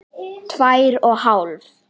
Tvær og hálf.